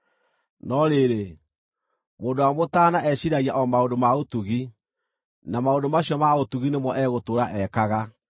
No rĩrĩ, mũndũ ũrĩa mũtaana eciiragia o maũndũ ma ũtugi, na maũndũ macio ma ũtugi nĩmo egũtũũra ekaga.